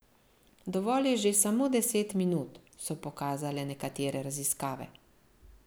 Dovolj je že samo deset minut, so pokazale nekatere raziskave.